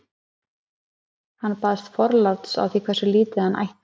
Hann baðst forláts á því hversu lítið hann ætti.